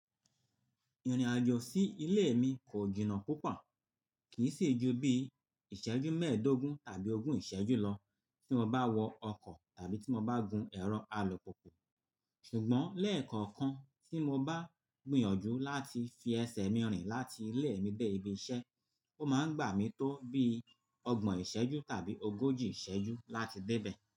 Ìrìn àjò sí ilé mi kò jìnnà púpọ̀, kì í sì ju bí ìṣẹ́jú mẹ́ẹ̀ẹ́dógún tàbí ogún ìṣẹ́jú lọ tí mo bá wọ ọkọ̀ tàbí tí mo bá gun ẹ̀rọ alùpùpù. Ṣùgbọ́n lẹ́ẹ̀kọ̀kan tí mo bá gbìyànjú láti fi ẹsẹ̀ mi rìn láti ilé mi dé ibi iṣẹ́, ó máa ń gbà mí tó bí ọgbọ̀n ìṣẹ́jú tàbí ogójì ìṣẹ́jú láti dé bẹ̀.